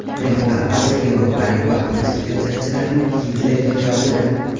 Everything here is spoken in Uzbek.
Rim papasi yevropalik populist siyosatchilarni Gitlerga qiyosladi.